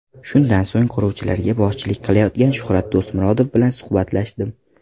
Shundan so‘ng quruvchilarga boshchilik qilayotgan Shuhrat Do‘stmurodov bilan suhbatlashdim.